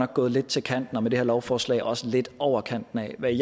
gået lidt til kanten med det her lovforslag og også lidt over kanten af hvad